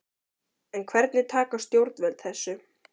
En hvernig taka stjórnvöld þessu?